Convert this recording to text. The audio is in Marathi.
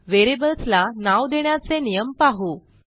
व्हेरिएबल्स ला नाव देण्याचे नियम पाहू